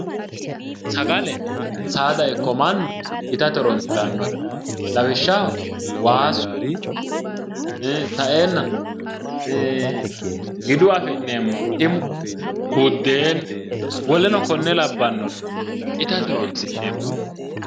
Sagale saada ikko mannu itate horoonsirannote lawishaho waasu sa'eennano giduyi afi'neemmohu timu buddenu woleno konne labbannore itate horoonsi'neemmoreeti